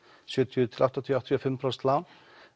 sjötíu til áttatíu áttatíu og fimm prósent lán